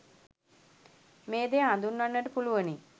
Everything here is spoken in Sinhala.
මේ දෙය හඳුන්වන්නට පුළුවනි.